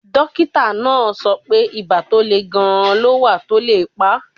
Dókítà náà sọ pé ibà tó le gan-an ló wà tó lè pa